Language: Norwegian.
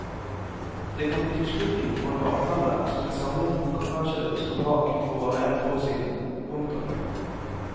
Det kan bety slutten for en avtale som en samlet bokbransje sto bak for bare ett år siden. punktum